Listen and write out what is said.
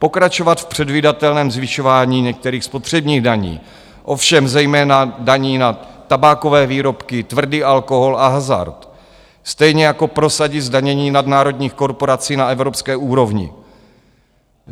Pokračovat v předvídatelném zvyšování některých spotřebních daní, ovšem zejména daní na tabákové výrobky, tvrdý alkohol a hazard, stejně jako prosadit zdanění nadnárodních korporací na evropské úrovni.